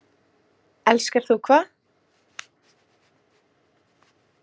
Elskar þú hvað?